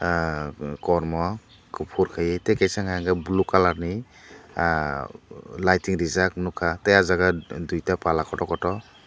kormo kufur kaie tai kisa unka ke blue kalar ni ahh lightging reejak nugkha tai a jaaga duita pala kotor kotor.